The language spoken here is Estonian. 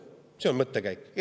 See oli see mõttekäik.